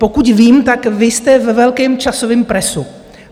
Pokud vím, tak vy jste ve velkém časovém presu.